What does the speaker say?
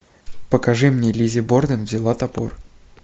покажи мне лиззи борден взяла топор